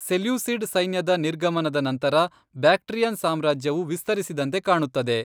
Seleucid ಸೈನ್ಯದ ನಿರ್ಗಮನದ ನಂತರ, ಬ್ಯಾಕ್ಟ್ರಿಯನ್ ಸಾಮ್ರಾಜ್ಯವು ವಿಸ್ತರಿಸಿದಂತೆ ಕಾಣುತ್ತದೆ.